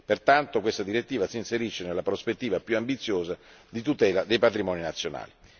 Pertanto, questa direttiva si inserisce nella prospettiva più ambiziosa di tutela dei patrimoni nazionali.